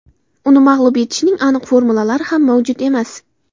Uni mag‘lub etishning aniq formulalari ham mavjud emas.